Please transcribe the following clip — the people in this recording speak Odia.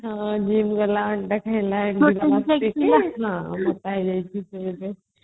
ହଁ gym ଗଲା ଅଣ୍ଡା ଖାଇଲା portion shake ପିଇଲା ହଁ ମୋଟା ହେଇଯାଇଛି ସେ ଏବେ